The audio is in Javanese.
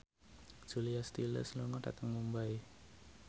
Julia Stiles lunga dhateng Mumbai